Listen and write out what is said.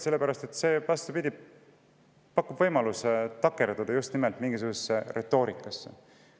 Sellepärast et see, vastupidi, pakub võimaluse takerduda just nimelt mingisugusesse retoorikasse.